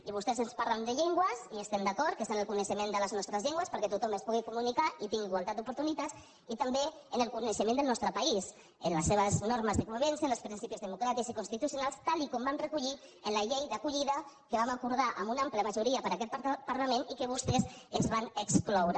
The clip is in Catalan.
i vostès ens parlen de llengües i estem d’acord que s’ha de tenir coneixe·ment de les nostres llengües perquè tothom es pugui comunicar i tingui igualtat d’oportunitats i també en el coneixement del nostre país en les seves normes de convivència en els principis democràtics i constituci·onals tal com vam recollir en la llei d’acollida que vam acordar amb una àmplia majoria per aquest par·lament i que vostès se’n van excloure